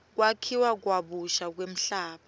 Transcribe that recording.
kwakhiwa kabusha kwemhlaba